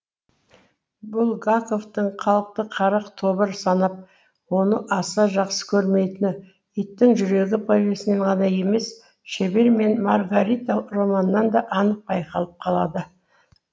булгаковтың халықты қара тобыр санап оны аса жақсы көрмейтіні иттің жүрегі повесінен ғана емес шебер мен маргарита романынан да анық байқалып қалады